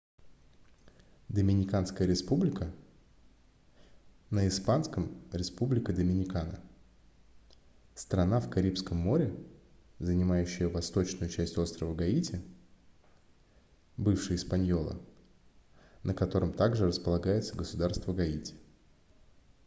доминиканская республика на испанском: республика доминикана — страна в карибском море занимающая восточную часть острова гаити бывший испаньола на котором также располагается государство гаити